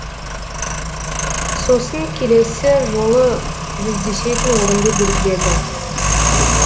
сосын келесі жолы жүздесетін орынды белгіледі